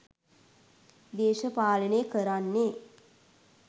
දේශපාලනය කරන්නේ